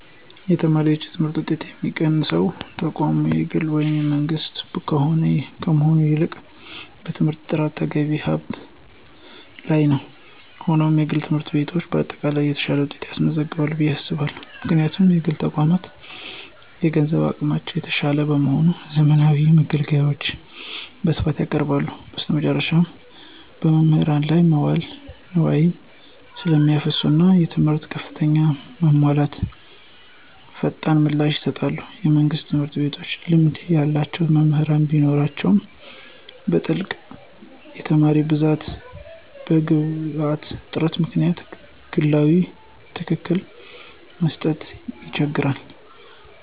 የተማሪዎች የትምህርት ውጤት የሚወሰነው ተቋሙ የግል ወይም የመንግሥት ከመሆን ይልቅ በትምህርቱ ጥራትና በተገቢው ሀብት ላይ ነው። ሆኖም፣ የግል ትምህርት ቤቶች በአጠቃላይ የተሻለ ውጤት ያስገኛሉ ብዬ አስባለሁ። ምክንያቱም: የግል ተቋማት የገንዘብ አቅማቸው የተሻለ በመሆኑ፣ ዘመናዊ መገልገያዎችን በስፋት ያቀርባሉ። በተጨማሪም፣ በመምህራን ላይ መዋለ ንዋይ ስለሚያፈሱና እና የትምህርት ክፍተቶችን ለመሙላት ፈጣን ምላሽ ይሰጣሉ። የመንግሥት ትምህርት ቤቶች ልምድ ያላቸው መምህራን ቢኖራቸውም፣ በትልቅ የተማሪ ብዛትና በግብዓት እጥረት ምክንያት ግላዊ ክትትልን ለመስጠት ይቸገራሉ።